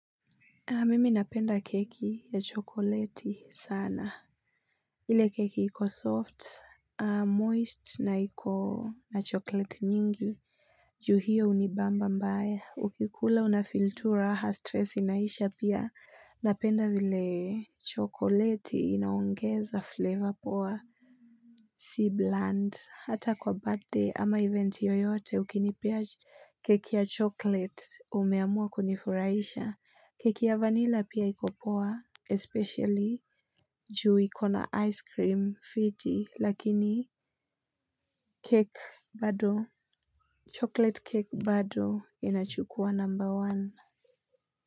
Mimi napenda keki ya chokoleti sana. Ile keki iko soft, moist na iko na chokoleti nyingi. Juu hio hunibamba mbaya. Ukikula unafeel tu raha, stress inaisha pia. Napenda vile chokoleti inaongeza flavor poa. Si bland. Hata kwa birthday ama event yoyote ukinipa keki ya chokoleti umeamua kunifuraisha. Keki ya vanilla pia iko poa, especially juu ikona ice cream fiti, lakini cake bado, chocolate cake bado inachukua number one.